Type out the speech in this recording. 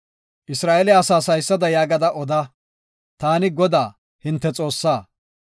“Isra7eele asaas haysada yaagada oda; taani Godaa, hinte Xoossaa.